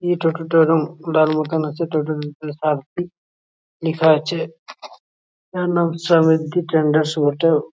এই টোটো টা রং লাল মতো আছে। টোটো টার লিখা আছে স্ট্যাডার্স অটো ।